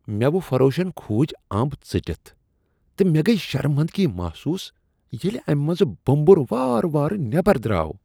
میو فروشن کھوٗجۍ امب ژٔٹِتھ تہٕ مےٚ گٔیۍ شرمندگی محسوس ییلِہ اَمِہ منٛز بومبر وارٕ وار نیبر دراو۔